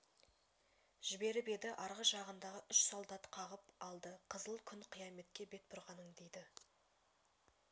жіберіп еді арғы жағындағы үш солдат қағып алды қызыл күн қияметке бет бұрғаның дейді